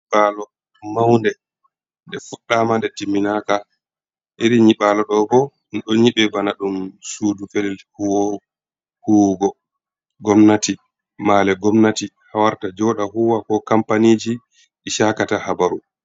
Nyiɓaalo mawnde nde fuɗɗaama, nde timminaaka .Iri nyiɓaalo ɗo bo, ɗum ɗo nyiɓe bana ɗum suudu felel huwugo gomnati. Male gomnati haa warata jooɗa huuwa ko kampaniiji i cakata habaru.